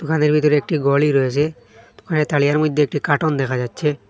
দোকানের ভিতরে একটি গলি রয়েসে দোকানের তালিয়ার মইদ্যে একটু কাটন দেখা যাচ্ছে।